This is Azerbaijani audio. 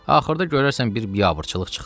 Axırda görərsən bir biabırçılıq çıxdı.